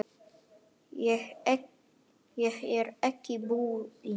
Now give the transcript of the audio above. Ég er ekki búinn.